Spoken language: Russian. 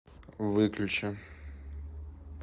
выключи